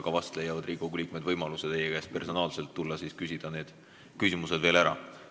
Vast leiavad Riigikogu liikmed võimaluse tulla ja küsida need küsimused teie käest personaalselt ära.